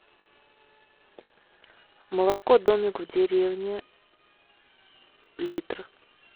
молоко домик в деревне литр